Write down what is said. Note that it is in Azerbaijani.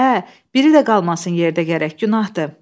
Hə, hə, biri də qalmasın yerdə gərək, günahdır.